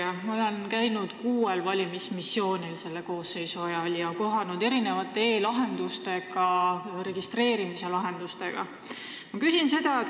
Ma olen selle koosseisu ajal käinud kuuel valimismissioonil ja näinud erinevaid e-lahendusi, registreerimislahendusi.